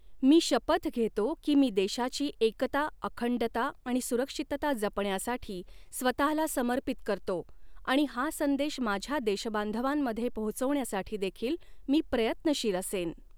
मी शपथ घेतो की मी देशाची एकता, अखंडता आणि सुरक्षितता जपण्यासाठी स्वतःला समर्पित करतो आणि हा संदेश माझ्या देशबांधवांमध्ये पोहोचवण्यासाठी देखील मी प्रयत्नशील असेन.